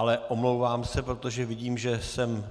Ale omlouvám se, protože vidím, že jsem